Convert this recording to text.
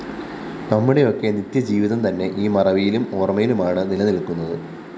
നമ്മുടെയൊക്കെ നിത്യജീവിതം തന്നെ ഈ മറവിയിലും ഓര്‍മയിലുമാണ്‌ നിലനില്‍ക്കുന്നത്‌